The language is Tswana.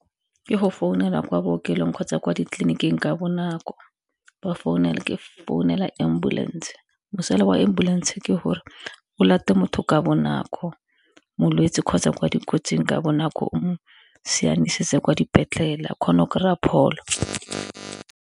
Ke go founela kwa bookelong kgotsa kwa ditleliniking ka bonako, ke founela ambulance. Mosola wa ambulance ke gore o late motho ka bonako molwetsi kgotsa kwa dikotsing ka bonako o siananisetse kwa dipetlele o kgona go kry-a pholo.